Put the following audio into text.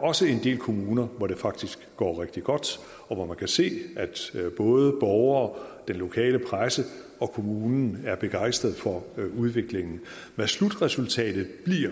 også er en del kommuner hvor det faktisk går rigtig godt og hvor man kan se at både borgere den lokale presse og kommunen er begejstrede for udviklingen hvad slutresultatet bliver